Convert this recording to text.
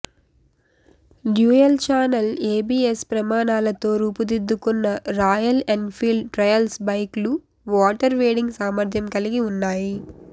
dual channel ABS ప్రమాణాలతో రూపుదిద్దుకున్న Royal Enfield trials బైక్లు వాటర్ వేడింగ్ సామర్థ్యం కలిగి ఉన్నాయి